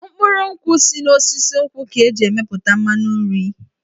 Mkpụrụ nkwụ si n'osisi nkwụ ka e ji emepụta mmanụ nri.